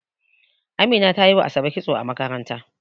Amina tana yi wa ASabe kitso a makaranta.